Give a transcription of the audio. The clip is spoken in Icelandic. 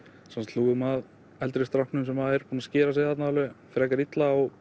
hlúum að eldri stráknum sem er búinn að skera sig frekar illa og